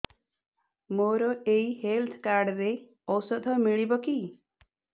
ମୋର ଏଇ health card ରେ ଔଷଧ ମିଳିବ କି